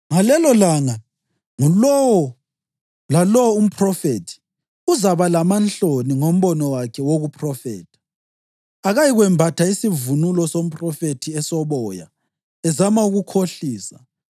Ngalelolanga ngulowo lalowo umphrofethi uzaba lamanhloni ngombono wakhe wokuphrofetha. Akayikwembatha isivunulo somphrofethi esoboya ezama ukukhohlisa.